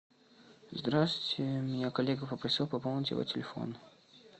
здравствуйте меня коллега попросил пополнить его телефон